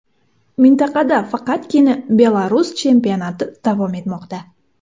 Mintaqada faqatgina Belarus chempionati davom etmoqda.